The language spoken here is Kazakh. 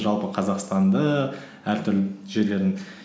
жалпы қазақстанды әртүрлі жерлерін